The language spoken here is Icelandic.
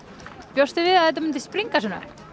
bjóstu við að þetta myndi springa svona